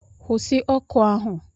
Kwụsị oku ahu!